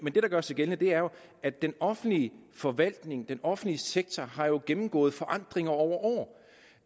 gør sig gældende er jo at den offentlige forvaltning den offentlige sektor har gennemgået forandringer over år